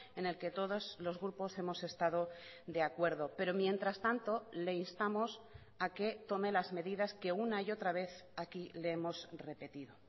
en el que todos los grupos hemos estado de acuerdo pero mientras tanto le instamos a que tome las medidas que una y otra vez aquí le hemos repetido